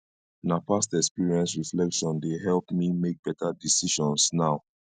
na past experience reflection dey help me make beta decisions now